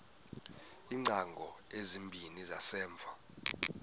iingcango ezimbini zangasemva